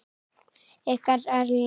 Ykkar Erla.